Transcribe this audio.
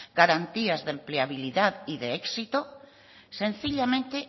garantías de empleabilidad y de éxito sencillamente